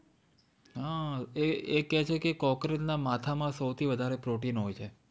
હા એ કે છે cockroach ના માથા માં સૌથી વધારે પ્રોટીન હોય છે